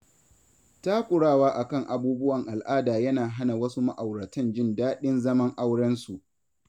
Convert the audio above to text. Takurawa a kan abubuwan al'ada yana hana wasu ma'auratan jin daɗin zaman aurensu.